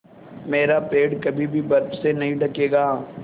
मेरा पेड़ कभी भी बर्फ़ से नहीं ढकेगा